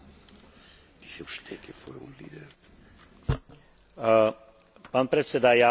Pán predseda, ja hovorím k správe Luhan, ktorá je posledným bodom dnešného rokovania.